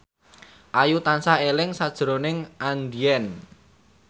Ayu tansah eling sakjroning Andien